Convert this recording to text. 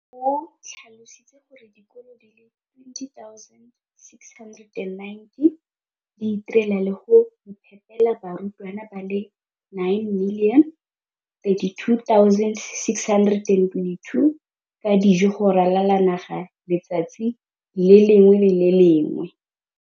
o tlhalositse gore dikolo di le 20 619 di itirela le go iphepela barutwana ba le 9 032 622 ka dijo go ralala naga letsatsi le lengwe le le lengwe.